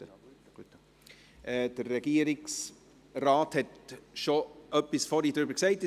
Der Regierungsrat hat in seinem Votum vorhin bereits etwas darüber gesagt;